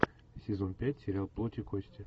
сезон пять сериал плоть и кости